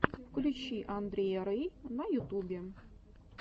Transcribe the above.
включи андрея рэй на ютубе